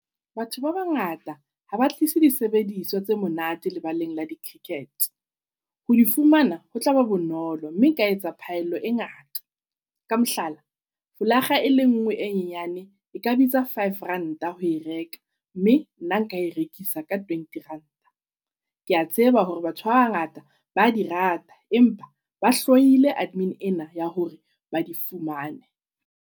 Batho ba bangata haba tlise di sebediswa tse monate lebaleng la di -cricket. Ho di fumana ho tlaba bonolo mme e ka etsa phaello e ngata. Ka mohlala folaga e le ngwe e nyane e ka bitsa five ranta ho e reka, mme nna nka e rekisa ka twenty ranta. Ke a tseba hore batho ba bangata ba di rata, empa ba hloile admin ena ya hore ba di fumane.